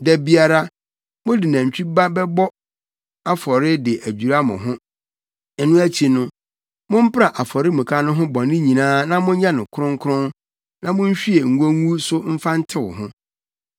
Da biara, mode nantwi ba bɛbɔ afɔre de adwira mo ho. Ɛno akyi no, mompra afɔremuka no ho bɔne nyinaa na monyɛ no kronkron na monhwie ngo ngu so mfa ntew ho.